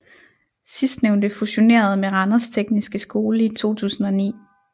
Sidstnævnte fusionerede med Randers Tekniske Skole i 2009